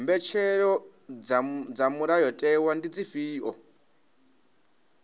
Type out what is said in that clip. mbetshelo dza mulayotewa ndi dzifhio